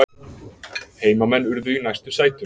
Heimamenn urðu í næstu sætum